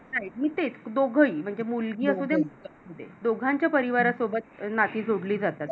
नाही तेच. दोघ ही मुलगी असू दे कि मुलगा असू दे. दोघांच्या परिवारासोबत नाती जोडली जातात.